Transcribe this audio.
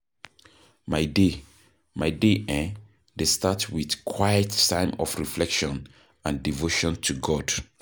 My day My day um dey start with quiet time of reflection and devotion to God.